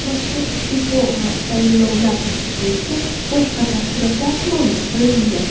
Mazkur iste’fo va tayinlovlar bo‘yicha boshqa tafsilotlar ma’lum qilinmagan.